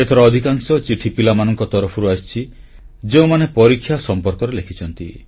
ଏଥର ଅଧିକାଂଶ ଚିଠି ପିଲାମାନଙ୍କ ତରଫରୁ ଆସିଛି ଯେଉଁମାନେ ପରୀକ୍ଷା ସମ୍ପର୍କରେ ଲେଖିଛନ୍ତି